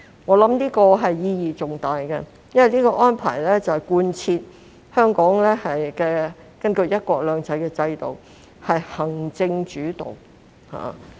我認為這項規定意義重大，因為是貫徹香港根據"一國兩制"的制度是行政主導。